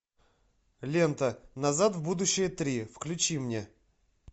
лента назад в будущее три включи мне